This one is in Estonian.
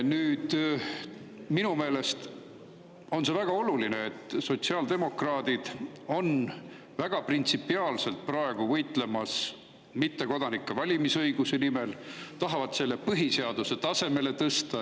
Nüüd, minu meelest on väga oluline, et sotsiaaldemokraadid võitlevad praegu väga printsipiaalselt mittekodanike valimisõiguse nimel, tahavad selle põhiseaduse tasemele tõsta.